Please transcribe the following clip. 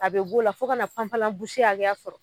A be b'o la fo kana hakɛya sɔrɔ